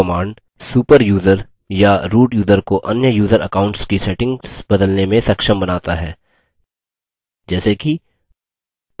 super user या root user को अन्य यूज़र accounts की settings बदलने में सक्षम बनता है जैसे कि